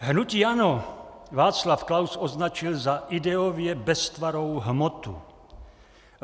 Hnutí ANO Václav Klaus označil za ideově beztvarou hmotu.